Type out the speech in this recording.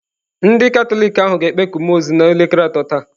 Ndị Katọlik ahụ ga-ekpeku mmụọ ozi n'elekere atọ taa.